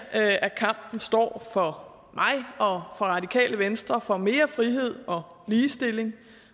kampen står for mig og radikale venstre for mere frihed og ligestilling